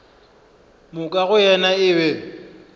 moka go yena e be